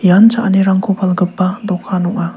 ian cha·anirangko palgipa dokan ong·a.